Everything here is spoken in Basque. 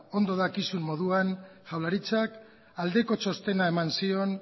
ondo dakizun moduan jaurlaritzak aldeko txostena eman zion